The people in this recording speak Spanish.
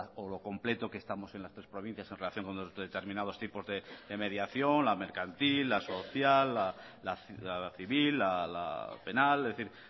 o lo completo que estamos en las tres provincias en relación con los determinados tipos de mediación la mercantil la social la civil la penal es decir